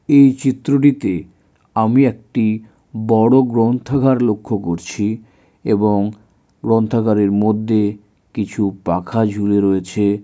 এই চিত্রটিতে আমি একটি বড়ো গ্রন্থাগার লক্ষ্য করছি এবং গ্রন্থাগারের মধ্যে কিছু পাখা ঝুলে রয়েছে।